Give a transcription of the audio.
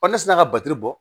ne sin na ka batiri bɔ